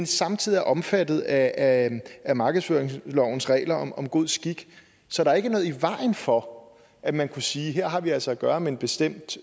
samtidig er omfattet af af markedsføringslovens regler om god skik så der er ikke noget i vejen for at man kunne sige at her har vi altså at gøre med en bestemt